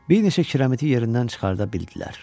Bir neçə kiramiti yerindən çıxarda bildilər.